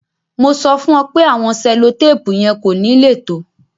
Mo ti sọ̀ fún o pẹ̀ àwọn sẹ̀lọ̀tàpù yẹn kò ní le tó